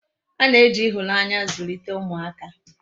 A na-eji ihunanya zulite umuaka